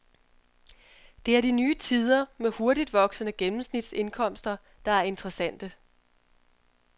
Det er de nye tider med hurtigt voksende gennemsnitsindkomster, der er interessante.